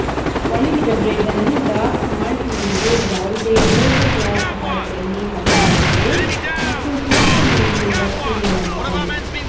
ಒಣಗಿದ ಬ್ರೆಡ್ ಅನ್ನು ಡಾರ್ಕ್ ಮಾಲ್ಟ್ನೊಂದಿಗೆ ಯಾವುದೇ ದೊಡ್ಡ ಗ್ಲಾಸ್ ಧಾರಕದಲ್ಲಿ ಹಾಕಲಾಗುತ್ತದೆ ಮತ್ತು ಕುದಿಯುವ ನೀರಿನಿಂದ ಸುರಿಯಲಾಗುತ್ತದೆ